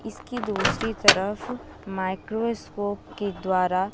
इसकी दूसरी तरफ माइक्रोस्कोप के द्वारा--